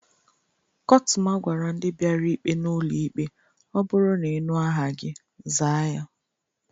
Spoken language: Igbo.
Kọtụma gwara ndị biara ikpe n'ụlọ ikpe "o bụru n'inu aha gi, zaa ya"